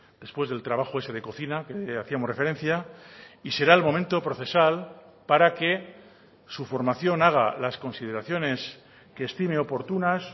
después del trabajo ese de cocina que hacíamos referencia y será el momento procesal para que su formación haga las consideraciones que estime oportunas